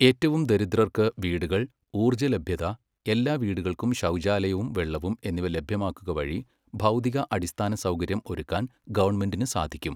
ഏറ്റവും ദരിദ്രർക്ക് വീടുകൾ, ഊർജലഭ്യത, എല്ലാ വീടുകൾക്കും ശൗചാലയവും വെള്ളവും എന്നിവ ലഭ്യമാക്കുക വഴി ഭൗതിക അടിസ്ഥാനസൗകര്യം ഒരുക്കാൻ ഗവണ്മെന്റിന് സാധിക്കും.